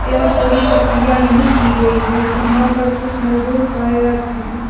यह पूरी प्रक्रिया नहीं की गई है यहां पर कुछ मजदूर कार्यरत हैं।